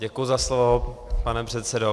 Děkuji za slovo, pane předsedo.